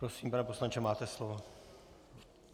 Prosím, pane poslanče, máte slovo.